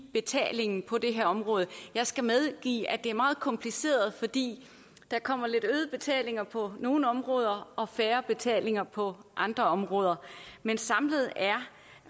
betalingen på det her område jeg skal medgive at det er meget kompliceret fordi der kommer lidt øgede betalinger på nogle områder og færre betalinger på andre områder men samlet er